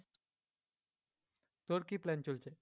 তোর কী plan চলছে?